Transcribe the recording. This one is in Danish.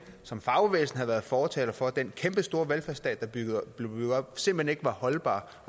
som fagbevægelsen havde været fortaler for den kæmpestore velfærdsstat der blev bygget op simpelt hen ikke var holdbar